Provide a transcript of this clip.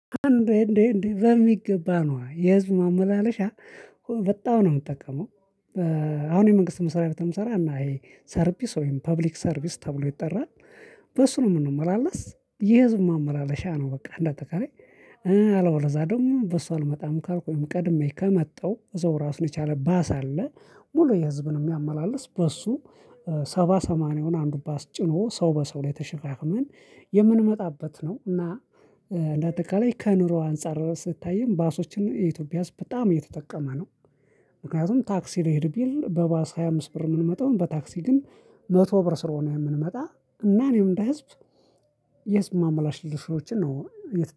እንዴ እንዴ እንዴ በሚገባ ነዋ የህዝብ ማመላለሻ በጣም ነው የምጠቀመው። አሁን የመንግስት መስሪያ ቤት ነው የመሰራው እና ይሄ ሰርቪስ ወይም ፐብሊክ ሰርቪስ ተብሎ ይጠራል። በሱ ነው የምንመላለስ የህዝብ ማመላለሻ ነው። በቃ እንደ አጠቃላይ አለበለዚያ ደግሞ በሱ አልመጣም ካልኩ ወይም ቀድሜ ከመጣሁ እዛው ራሱን የቻለ ባስ አለ። ሙሉ ህዝብን የሚያመላልስ በሱ ሰባ ሰማንያውን አንዱ ባስ ጭኖ ሰው በሰው ላይ ተሸጋግመን የምንመጣበት ነው። እና እንደ አጠቃላይ ከኑሮ አንፃር ስታይም ባሶችን የኢትዮጵያ ውስጥ በጣም እየተጠቀመ ነው። ምክንያቱም ታክሲ ልሄድ ቢል በባስ ሃያ አምስት ብር የምንመጣው በታክሲ ግን መቶ ብር ስለሆነ የምንመጣ እና እኔም እንደ ህዝብ የህዝብ ማምላለሻዎችን ነው